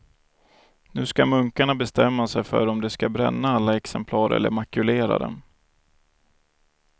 Nu ska munkarna bestämma sig för om de ska bränna alla exemplar eller makulera dem.